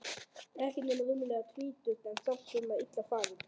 Ekki nema rúmlega tvítug en samt svona illa farin.